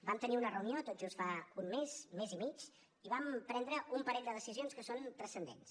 vam tenir una reunió tot just fa un mes mes i mig i vam prendre un parell de decisions que són transcendents